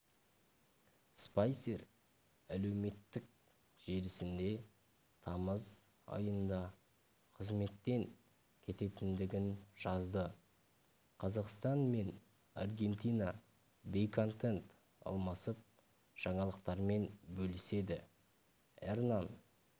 спайсер әлеуметтік желісінде тамыз айында қызметтен кететіндігін жазды қазақстан мен аргентина бейнеконтент алмасып жаңалықтармен бөліседі эрнан